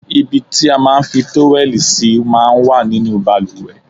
Ibi tí a máa ń fi tówẹ́lì sí máa ń wà nínú bàlùwẹ̀.